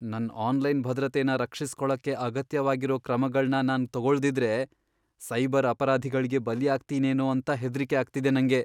ನನ್ ಆನ್ಲೈನ್ ಭದ್ರತೆನ ರಕ್ಷಿಸ್ಕೊಳಕ್ಕೆ ಅಗತ್ಯವಾಗಿರೋ ಕ್ರಮಗಳ್ನ ನಾನ್ ತಗೊಳ್ದಿದ್ರೆ, ಸೈಬರ್ ಅಪರಾಧಿಗಳ್ಗೆ ಬಲಿಯಾಗ್ತೀನೇನೋ ಅಂತ ಹೆದ್ರಿಕೆ ಆಗ್ತಿದೆ ನಂಗೆ.